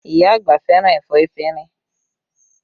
Iya àgbà fẹ́ràn ẹ̀fọ́ efinrin